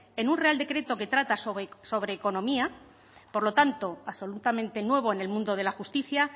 en un real decreto que trata sobre economía por lo tanto absolutamente nuevo en el mundo de la justicia